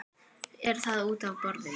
Er það útaf borðinu?